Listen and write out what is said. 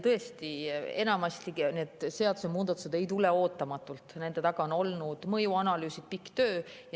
Tõesti, enamasti need seadusemuudatused ei tule ootamatult, nende taga on olnud mõjuanalüüsid, pikk töö.